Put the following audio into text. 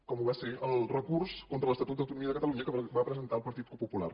com ho va ser el recurs contra l’estatut d’autonomia de catalunya que va presentar el partit popular